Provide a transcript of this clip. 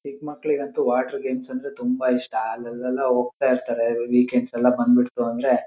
ಚಿಕ್ಕ್ ಮಕ್ಲಿಗಂತೂ water games ಅಂದ್ರೆ ತುಂಬ ಇಷ್ಟ ಅಲ್ಲೆಲ್ಲ ಹೋಗ್ತಾ ಇರ್ತರೆ ವೀಕೆಂಡ್ಸ್ ಎಲ್ಲ ಬಂದ್ಬಿಡ್ತು ಅಂದ್ರೆ--